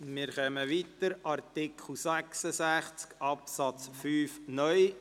Wir fahren weiter und kommen zu Artikel 66 Absatz 5 (neu).